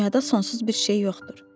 Dünyada sonsuz bir şey yoxdur.